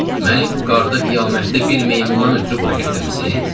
Məni bu qarda-qiyamətdə bir meymundan ötrü bura gətirmisiz?